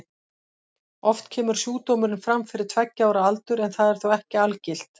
Oft kemur sjúkdómurinn fram fyrir tveggja ára aldur en það er þó ekki algilt.